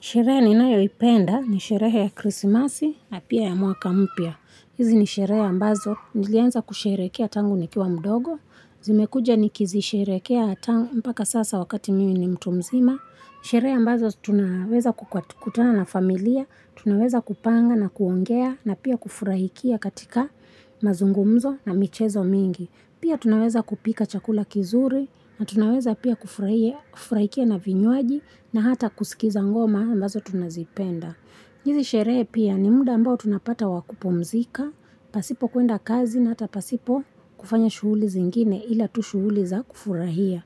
Sherehe ninayoipenda ni sherehe ya krisimasi na pia ya mwaka mpya. Hizi ni sherehe ambazo. Nilianza kusherehekea tangu nikiwa mdogo. Zimekuja ni kizisherekea tangu mpaka sasa wakati mimi ni mtu mzima. Sherehe ambazo tunaweza kukutana na familia. Tunaweza kupanga na kuongea na pia kufurahikia katika mazungumzo na michezo mingi. Pia tunaweza kupika chakula kizuri na tunaweza pia kufurahia na vinywaji na hata kusikiza ngoma ambazo tunazipenda. Lakini sherehe pia ni muda ambao tunapata wakupumzika, pasipo kuenda kazi na hata pasipo kufanya shughuli zeingine ila tu shughuli za kufurahia.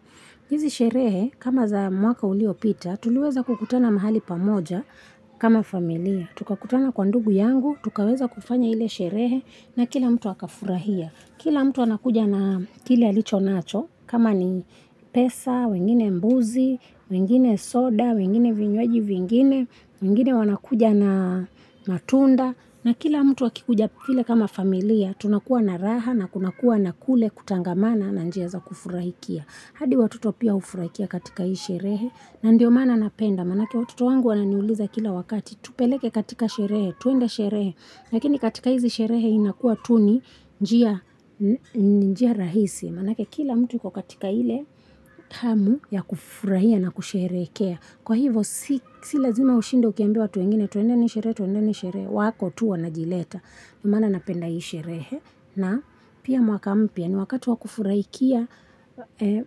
Hizi sherehe kama za mwaka uliopita, tuliweza kukutana mahali pamoja kama familia. Tukakutana kwa ndugu yangu, tukaweza kufanya ila sherehe na kila mtu akafurahia. Kila mtu anakuja na kila licho nacho, kama ni pesa, wengine mbuzi, wengine soda, wengine vinywaji vingine, wengine wanakuja na matunda. Na kila mtu akikuja vile kama familia, tunakua na raha na kunakua na kule kutangamana na njia kufurahiia. Hadi watoto pia hufurahia katika hii sherehe. Na ndio maana niinapenda, manaake watoto wangu wananiuliza kila wakati, tupeleke katika sherehe, tuenda sherehe. Lakini katika hizi sherehe inakuwa tu ni, njia rahisi. Manake kila mtu yuko katika hile hamu ya kufurahia na kusherehekea. Kwa hivo si lazima ushinde uliambia watu wengine tuende sherehe, tuendeni sherehe, wako tu wanajileta. Maana napenda hii. Shereehe na pia mwaka mpya ni wakati wa wa kufuraikia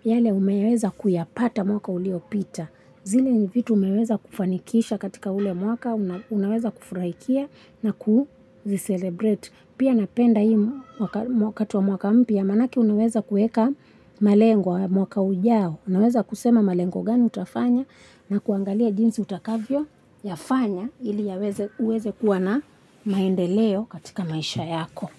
yale umeweza kuyapata mwaka uliopita. Zile ni vitu umeweza kufanikisha katika ule mwaka unaweza kufuraikia na kuzelebrate. Pia napenda hii mwaka mwaka mpya manajlnaweza kueka malengwa mwaka ujao. Unaweza kusema malengo gani utafanya na kuangalia jinsi utakavyo yafanya ili uweze kuwa na maendeleo katika maisha yako.